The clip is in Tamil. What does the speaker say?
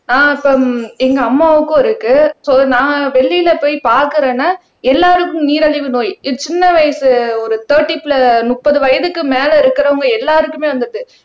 ஆஹ் இப்ப எங்க அம்மாவுக்கும் இருக்கு சோ நான் வெளியில போய் பாக்குறேன்னா எல்லாருக்கும் நீரிழிவு நோய் இது சின்ன வயசு ஒரு தேர்ட்டி பிள முப்பது வயதுக்கு மேல இருக்கிறவங்க எல்லாருக்குமே வந்துடுது